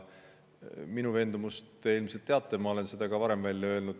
Minu veendumust te ilmselt teate, ma olen selle ka varem välja öelnud.